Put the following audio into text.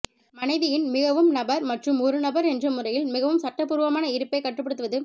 மனைவியின் மிகவும் நபர் மற்றும் ஒரு நபர் என்ற முறையில் மிகவும் சட்டபூர்வமான இருப்பைக் கட்டுப்படுத்துவது